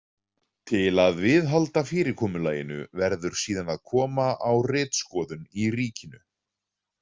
Til að viðhalda fyrirkomulaginu verður síðan að koma á ritskoðun í ríkinu.